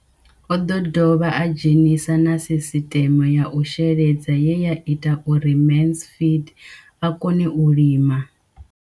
O ḓo dovha a dzhenisa na sisiṱeme ya u sheledza ye ya ita uri Mansfied a kone u lima.